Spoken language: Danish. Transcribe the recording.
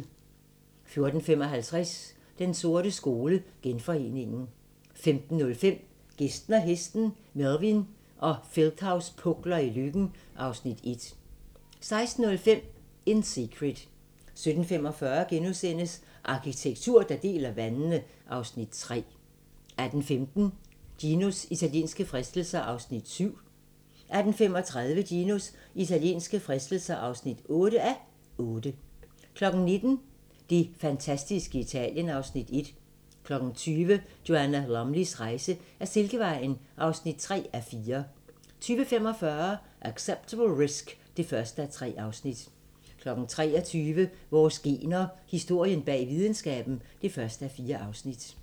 14:55: Den sorte skole: Genforeningen 15:05: Gæsten og hesten - Melvin og Feldthaus pukler i Løkken (Afs. 1) 16:05: In Secret 17:45: Arkitektur, der deler vandene (Afs. 3)* 18:15: Ginos italienske fristelser (7:8) 18:35: Ginos italienske fristelser (8:8) 19:00: Det fantastiske Italien (Afs. 1) 20:00: Joanna Lumleys rejse ad Silkevejen (3:4) 20:45: Acceptable Risk (1:3) 23:00: Vores gener – Historien bag videnskaben (1:4)